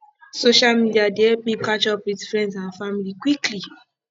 social media dey help me catch up with friends and family quickly